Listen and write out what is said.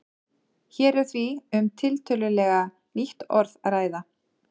Hér er því um tiltölulega nýtt orð að ræða.